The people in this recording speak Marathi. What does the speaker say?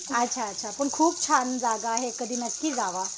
अच्छा अच्छा. पण खूप छान जागा आहे. कधी नक्की जावा.